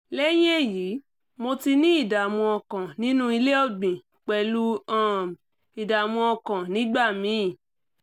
lẹ́yìn èyí mo ti ní ìdààmú ọkàn nínú ilé ọ̀gbìn pẹ̀lú um ìdààmú ọkàn nígbà míì